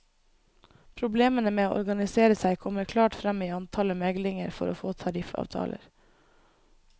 Problemene med å organisere seg kommer klart frem i antallet meglinger for å få tariffavtaler.